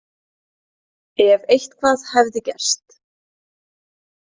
Ef eitthvað hefði gerst.